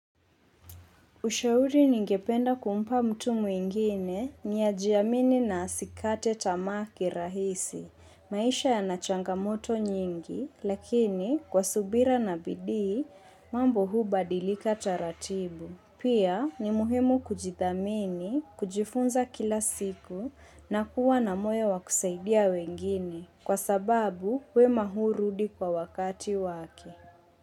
Ushauri ningependa kumpa mtu mwingine ni ajiamini na asikate tamaa kirahisi. Maisha yana changamoto nyingi, lakini kwa subira na bidii, mambo hubadilika taratibu. Pia ni muhimu kujithamini, kujifunza kila siku na kuwa na moyo wa kusaidia wengine kwa sababu wema hurudi kwa wakati wake.